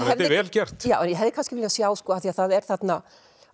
þetta er vel gert ég hefði kannski viljað sjá af því það er þarna